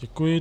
Děkuji.